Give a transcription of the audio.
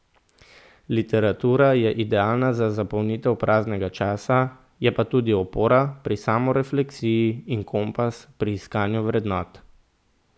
Literatura je idealna za zapolnitev praznega časa, je pa tudi opora pri samorefleksiji in kompas pri iskanju vrednot.